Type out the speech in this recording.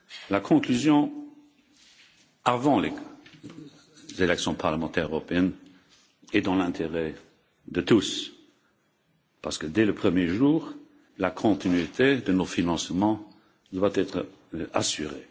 La conclusion avant l'élection parlementaire européenne est dans l'intérêt de tous parce que, dès le premier jour, la continuité de nos financements doit être assurée.